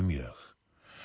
mjög